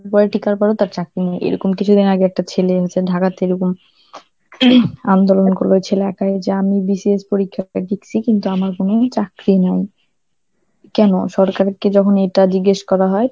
তার চাকরি নেই, এইরকম কিছুদিন আগে একটা ছেলে ঢাকার থেকে বা~ আন্দোলন করল ছেলে একাই যে আমি BCS পরীক্ষা দিসি কিন্তু আমার কোন চাকরি নাই কেনো, সরকারকে যখন এটা জিজ্ঞেস করা হয়